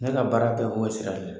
Ne ka baara bɛɛ o sira de la!